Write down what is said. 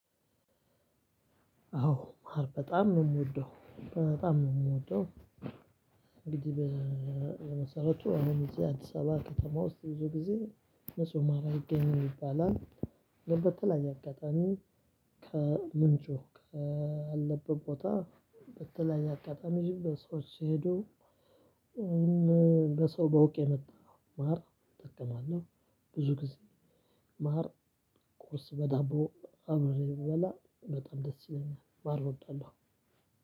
አዎ በጣም ነው የምወደው በጣም ነው የምወደው እንግዲህ በመሰረቱ እኔም እዚህ አዲስ አበባ ከተማ ውስጥ ብዙ ጊዜ ንጹህ ማር አይገኝም ይባላል። በተለይየ አጋጣሚ ከምንጩህ ካለበት ቦታ በተለያየ አጋጣሚ በሰዎች ሄዶ ወይም በሰው በውቅ የመጣ ማር እጠቀማለሁ። ብዙ ጊዜ ማር ቁርስ በዳቦ አብሬ እበላ በጣም ደስ ይለኛል ማር እወዳለሁ።